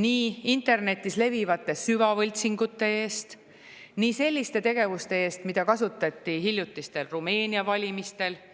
nii internetis levivate süvavõltsingute eest kui ka selliste tegevuste eest, mida kasutati hiljutistel valimistel Rumeenias.